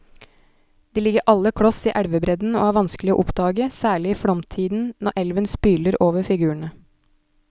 De ligger alle kloss i elvebredden og er vanskelige å oppdage, særlig i flomtiden når elven spyler over figurene.